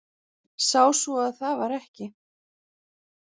Sá svo að það var ekki.